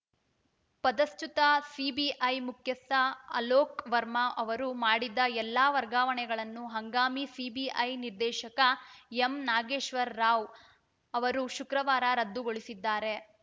ಪದಚ್ಯುತ CBI ಮುಖ್ಯಸ್ಥ ಅಲೋಕ್‌ ವರ್ಮಾ ಅವರು ಮಾಡಿದ್ದ ಎಲ್ಲ ವರ್ಗಾವಣೆಗಳನ್ನು ಹಂಗಾಮಿ ಸಿಬಿಐ ನಿರ್ದೇಶಕ ಎಂ ನಾಗೇಶ್ವರ ರಾವ್‌ ಅವರು ಶುಕ್ರವಾರ ರದ್ದುಗೊಳಿಸಿದ್ದಾರೆ